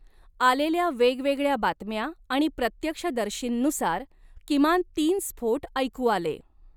आलेल्या वेगवेगळ्या बातम्या आणि प्रत्यक्षदर्शींनुसार, किमान तीन स्फोट ऐकू आले.